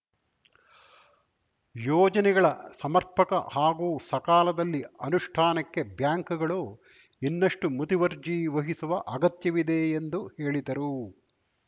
ಯೋಜನೆಗಳ ಸಮರ್ಪಕ ಹಾಗೂ ಸಕಾಲದಲ್ಲಿ ಅನುಷ್ಟಾನಕ್ಕೆ ಬ್ಯಾಂಕುಗಳು ಇನ್ನಷ್ಟುಮುತುವರ್ಜಿ ವಹಿಸುವ ಅಗತ್ಯವಿದೆ ಎಂದು ಹೇಳಿದರು